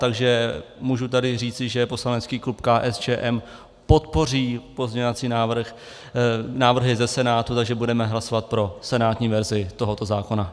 Takže můžu tady říci, že poslanecký klub KSČM podpoří pozměňovací návrhy ze Senátu, takže budeme hlasovat pro senátní verzi tohoto zákona.